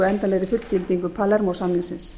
endanlegri fullgildingu palermó samningsins